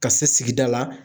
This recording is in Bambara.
Ka se sigida la